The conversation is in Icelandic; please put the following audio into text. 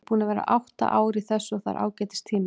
Ég er búinn að vera átta ár í þessu og það er ágætis tími.